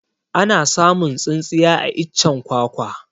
Ana samun tsintsiya a iccen kwakwa